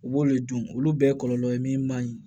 U b'olu dun olu bɛɛ ye kɔlɔlɔ ye min man ɲi